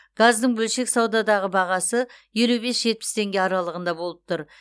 газдың бөлшек саудадағы бағасы елу бес жетпіс теңге аралығында болып тұр